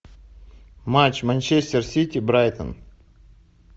матч манчестер сити брайтон